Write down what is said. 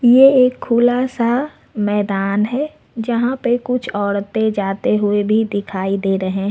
ये एक खुलासा मैदान है जहां पे कुछ औरतें जाते हुए भी दिखाई दे रहे हैं।